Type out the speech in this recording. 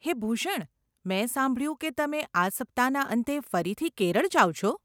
હે ભૂષણ, મેં સાંભળ્યું કે તમે આ સપ્તાહના અંતે ફરીથી કેરળ જાવ છો?